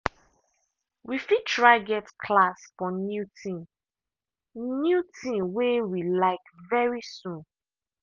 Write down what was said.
we fit try get class for new thing new thing way we like very soon.